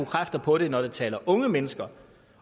kræfter på det når vi taler om unge mennesker